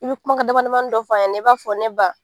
I bi kumakan damadamanin dɔ fɔ a ɲɛ na i b'a fɔ ne ba.